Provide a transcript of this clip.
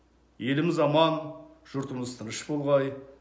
еліміз аман жұртымыз тыныш болғай